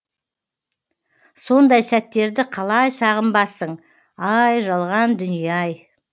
сондай сәттерді қалай сағынбассың ай жалған дүние ай